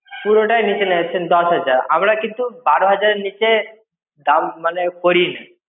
পুরোটাই নিচে নেমে যাচ্ছেন দশ হাজার! আমরা কিন্তু বারো হাজার এর নিচে দাম, মানে, করিনা।